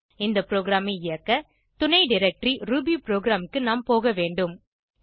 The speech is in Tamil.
இந்த ப்ரோகிராமை இயக்க துணைdirectory ரூபிபுரோகிராம் க்கு நாம் போக வேண்டும்